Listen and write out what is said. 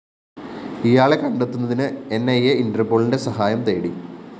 ഇയാളെ കണ്ടെത്തുന്നതിന് ന്‌ ഇ അ ഇന്റര്‍പോളിന്റെ സഹായം തേടി